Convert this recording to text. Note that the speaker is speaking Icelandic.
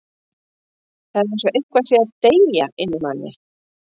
Það er eins og eitthvað sé að deyja inni í manni.